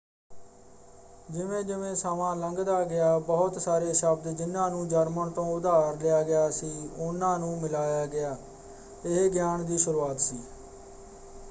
ਜਿਵੇਂ-ਜਿਵੇਂ ਸਮਾਂ ਲੰਘਦਾ ਗਿਆ ਬਹੁਤ ਸਾਰੇ ਸ਼ਬਦ ਜਿਨ੍ਹਾਂ ਨੂੰ ਜਰਮਨ ਤੋਂ ਉਧਾਰ ਲਿਆ ਗਿਆ ਸੀ ਉਹਨਾਂ ਨੂੰ ਮਿਲਾਇਆ ਗਿਆ। ਇਹ ਗਿਆਨ ਦੀ ਸ਼ੁਰੂਆਤ ਸੀ।